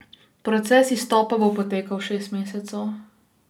Proces izstopa bo potekal šest mesecev.